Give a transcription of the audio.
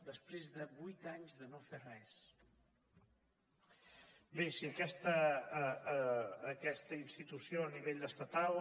després de vuit anys de no fer res bé si aquesta institució a nivell estatal